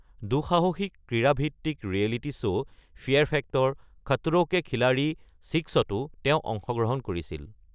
তেওঁ দুঃসাহসিক ক্ৰীয়া ভিত্তিক reality show fear factor: Khatron' Ke Khiladi ৬তো অংশগ্ৰহণ কৰিছিল।